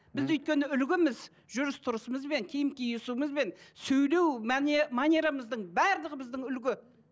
біз өйткені үлгіміз жүріс тұрысымызбен киім киісуімізбен сөйлеу манерамыздың барлығы біздің үлгі